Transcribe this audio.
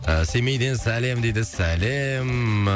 ыыы семейден сәлем дейді сәлем